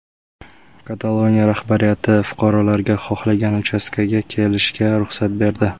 Kataloniya rahbariyati fuqarolarga xohlagan uchastkaga kelishga ruxsat berdi.